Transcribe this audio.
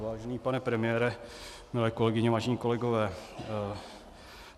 Vážený pane premiére, milé kolegyně, vážení kolegové.